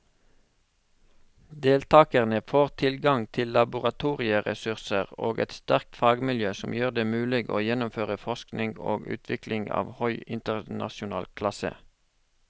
Deltakerne får tilgang til laboratorieressurser og et sterkt fagmiljø som gjør det mulig å gjennomføre forskning og utvikling av høy internasjonal klasse.